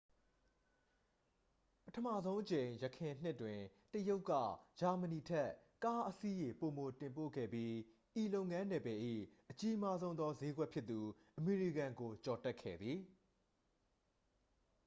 ပထမဆုံးအကြိမ် ယခင်နှစ်တွင် တရုတ်က ဂျာမဏီထက် ကားအစီးရေ ပိုမိုတင်ပို့ခဲ့ပြီး ဤလုပ်ငန်းနယ်ပယ်၏ အကြီးမားဆုံးသော စျေးကွက်ဖြစ်သူ အမေရိကန်ကို ကျော်တက်ခဲ့သည်